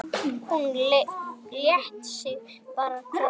Hún lét sig bara hverfa.